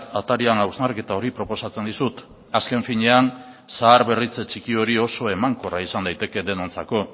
atarian hausnarketa hori proposatzen dizut azken finean zaharberritze txiki hori oso emankorra izan daiteke denontzako